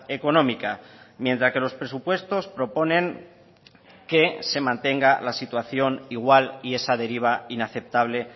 económica mientras que los presupuestos proponen que se mantenga la situación igual y esa deriva inaceptable